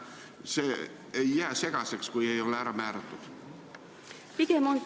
Kas see ei jää segaseks, kui see ei ole määratud?